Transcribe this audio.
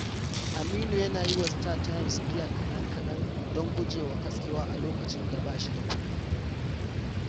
Aminu yana yi wa StarTimes biyan kaɗan-kaɗan don guje wa katsewa a lokacin da ba shi da kudi.